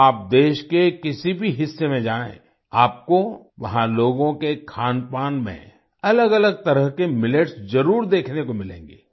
आप देश के किसी भी हिस्से में जाएं आपको वहां लोगों के खानपान में अलगअलग तरह के मिलेट्स जरुर देखने को मिलेंगे